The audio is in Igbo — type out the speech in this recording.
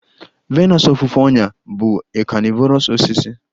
Venus ofufe ọnyà bụ a carnivorous osisi